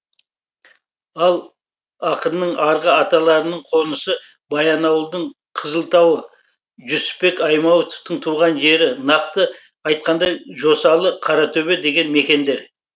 ал ақынның арғы аталарының қонысы баянауылдың қызылтауы жүсіпбек аймауытовтың туған жері нақты айтқанда жосалы қаратөбе деген мекендер